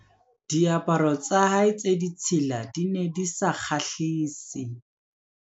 Diaparo tsa hae tse ditshila di ne di sa kgahlise.